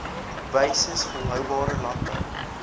wyses volhoubare landbou